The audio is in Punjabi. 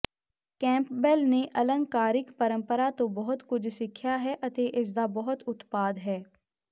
ਕੈਂਪਬੈਲ ਨੇ ਅਲੰਕਾਰਿਕ ਪਰੰਪਰਾ ਤੋਂ ਬਹੁਤ ਕੁਝ ਸਿੱਖਿਆ ਹੈ ਅਤੇ ਇਸਦਾ ਬਹੁਤ ਉਤਪਾਦ ਹੈ